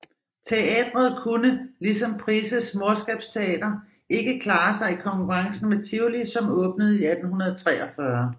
Teatret kunne ligesom Prices Morskabsteater ikke klare sig i konkurrencen med Tivoli som åbnede 1843